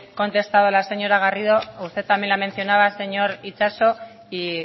contestado a la señora garrido usted también la mencionaba señor itxaso y